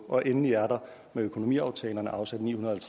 og endelig er der med økonomiaftalerne afsat ni hundrede og